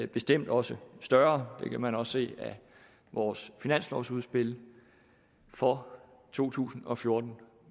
bestemt også højere det kan man også se af vores finanslovsudspil for to tusind og fjorten